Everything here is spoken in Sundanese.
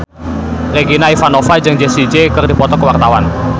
Regina Ivanova jeung Jessie J keur dipoto ku wartawan